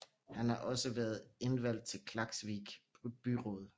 Han har også været indvalgt til Klaksvík byråd